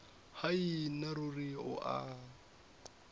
hai nna ruri o a